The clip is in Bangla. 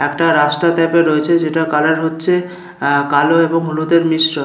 একটা রাস্তা ট্যাপের রয়েছে যেটা কালার হচ্ছে আ কালো এবং হলুদের মিশ্র--